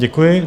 Děkuji.